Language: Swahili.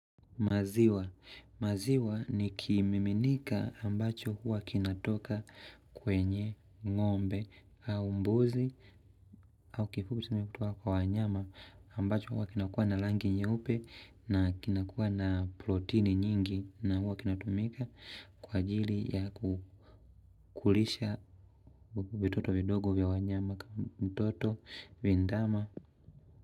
Maziwa. Maziwa ni kimiminika ambacho huwa kinatoka kwenye ngombe au mbuzi au kifupi tumetoka kwa wanyama ambacho huwa kinakuwa na rangi nyeupe na kinakuwa na protini nyingi na huwa kinatumika kwa ajili ya kukulisha vitoto vidogo vya wanyama kama mtoto vindama.